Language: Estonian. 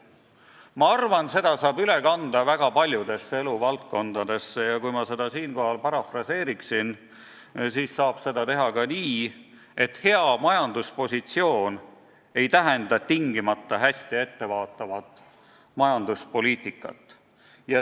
Ma arvan, et selle saab üle kanda väga paljudesse eluvaldkondadesse ja kui ma seda lauset siinkohal parafraseeriksin, siis ütleksin, et hea majanduspositsioon ei tähenda tingimata hästi ettevaatavat majanduspoliitikat.